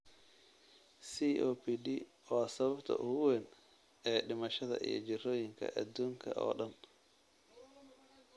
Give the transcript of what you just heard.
COPD waa sababta ugu weyn ee dhimashada iyo jirrooyinka adduunka oo dhan.